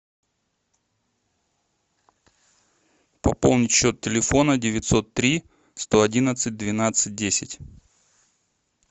пополнить счет телефона девятьсот три сто одиннадцать двенадцать десять